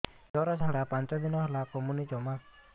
ଝିଅର ଝାଡା ପାଞ୍ଚ ଦିନ ହେଲାଣି କମୁନି ଜମା